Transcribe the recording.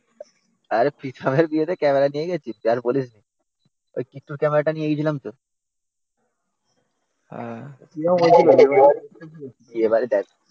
আরে প্রীতমের বিয়েতে ক্যামেরা নিয়ে গেছি তুই আর বলিস না ওই কিটটুর ক্যামেরা টা নিয়ে গেছিলাম তো